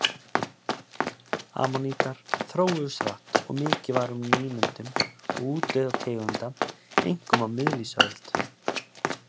Ammonítar þróuðust hratt og mikið var um nýmyndun og útdauða tegunda, einkum á miðlífsöld.